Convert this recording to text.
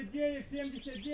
2979.